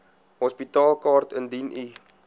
hospitaalkaart indien u